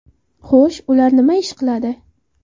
Xo‘sh, ular nima ish qiladi?